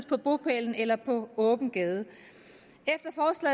på bopælen eller på åben gade